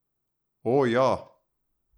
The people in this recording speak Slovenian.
O, ja!